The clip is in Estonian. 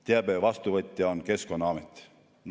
Teabe vastuvõtja on Keskkonnaamet.